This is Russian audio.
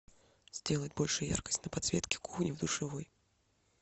сделать больше яркость на подсветке кухни в душевой